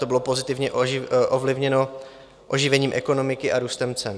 To bylo pozitivně ovlivněno oživením ekonomiky a růstem cen.